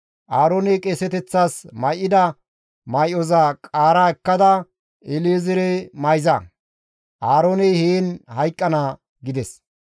Aarooney qeeseteththas may7ida may7oza qaara ekkada El7ezeere mayza; Aarooney heen hayqqana» gides.